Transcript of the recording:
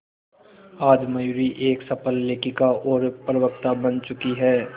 आज मयूरी एक सफल लेखिका और प्रवक्ता बन चुकी है